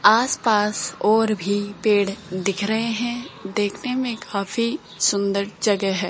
आसपास और भी पेड़ दिख रहे हैं देखने में काफी सुंदर जगह है।